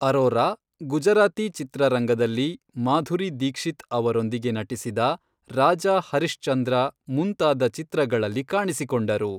ಅರೋರಾ, ಗುಜರಾತಿ ಚಿತ್ರರಂಗದಲ್ಲಿ, ಮಾಧುರಿ ದೀಕ್ಷಿತ್ ಅವರೊಂದಿಗೆ ನಟಿಸಿದ ರಾಜಾ ಹರಿಶ್ಚಂದ್ರ ಮುಂತಾದ ಚಿತ್ರಗಳಲ್ಲಿ ಕಾಣಿಸಿಕೊಂಡರು.